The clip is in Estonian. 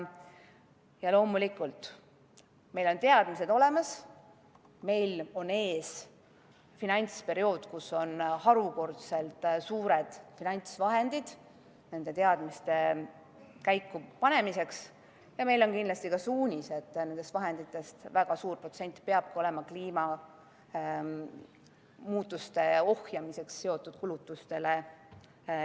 Ja loomulikult, meil on olemas teadmised, meil on ees finantsperiood, kus on harukordselt suured finantsvahendid nende teadmiste rakendamiseks, ja meil on kindlasti ka suunis, et nendest vahenditest väga suur protsent peab olema eraldatud kliimamuutuste ohjeldamisega seotud kulutustele.